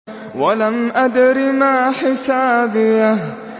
وَلَمْ أَدْرِ مَا حِسَابِيَهْ